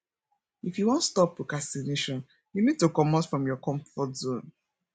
if you wan stop procrastination you need to comot from your comfort zone